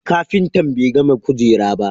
kafintan be gama kujera ta ba.